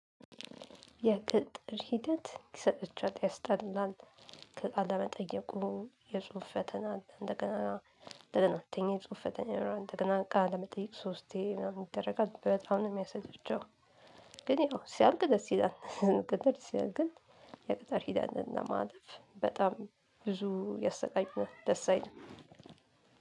የቅጥር ሂደት ይሰጥቻት ያስጠላል። ከቃለመጠየቁ የጽሁፍ ፈተና እንደገና እንደገና ተኝ የጽሁፍ ፈተና እንደገና ቃለመጠየቅ ሶስቴ ምናምን ይደረጋል በጣም ነው የሚያሰለቼው። ግን ያው ሲያልቅ ደስ ይለናል። ግን ሲያልቅ የቅጠር ሂደትና ማለፍ በጣም ብዙ የሰቃዩናል ደስ አይልም።